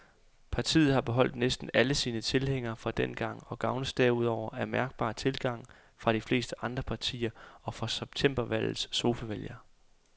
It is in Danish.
Partiet har beholdt næsten alle sine tilhængere fra dengang og gavnes derudover af mærkbar tilgang fra de fleste andre partier og fra septembervalgets sofavælgere.